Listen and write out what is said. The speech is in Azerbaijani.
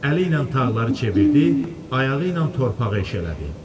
Əli ilə tağları çevirdi, ayağı ilə torpağı eşələdi.